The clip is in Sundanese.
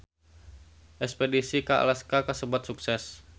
Espedisi ka Alaska kasebat sukses